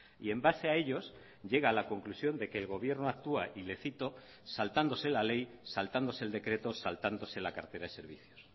y en base a ellos llega a la conclusión de que el gobierno actúa y le cito saltándose la ley saltándose el decreto saltándose la cartera de servicios